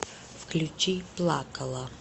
включи плакала